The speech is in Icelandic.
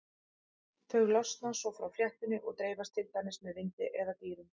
Þau losna svo frá fléttunni og dreifast til dæmis með vindi eða dýrum.